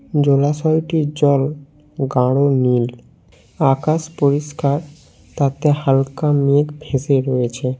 জলাশয়টির জল গাঢ় নীল আকাশ পরিষ্কার তাতে হালকা মেঘ ভেসে রয়েছে।